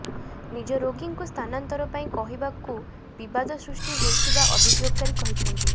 ନିଜ ରୋଗୀଙ୍କୁ ସ୍ଥାନାନ୍ତର ପାଇଁ କହିବାରୁ ବିବାଦ ସୃଷ୍ଟି ହୋଇଥିବା ଅଭିଯୋଗକାରୀ କହିଛନ୍ତି